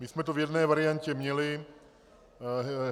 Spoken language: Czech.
My jsme to v jedné variantě měli.